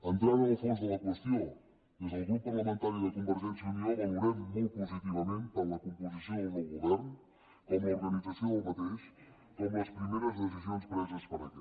entrant en el fons de la qüestió des del grup parlamentari de convergència i unió valorem molt positivament tant la composició del nou govern com l’organització d’aquest com les primeres decisions preses per aquest